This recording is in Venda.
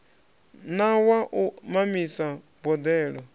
na wa u mamisa boḓelo